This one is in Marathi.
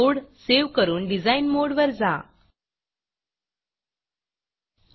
कोड सेव्ह करून डिझाइन modeडिज़ाइन मोड वर जा